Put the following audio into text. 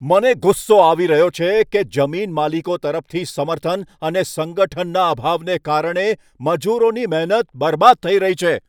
મને ગુસ્સો આવી રહ્યો છે કે જમીનમાલિકો તરફથી સમર્થન અને સંગઠનના અભાવને કારણે મજૂરોની મહેનત બરબાદ થઈ રહી છે.